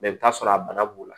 i bɛ t'a sɔrɔ a bana b'u la